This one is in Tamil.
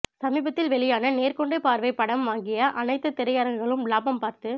சமீபத்தில் வெளியான நேர்கொண்ட பார்வை படம் வாங்கிய அனைத்து திரையரங்குகளும் லாபம் பார்த்து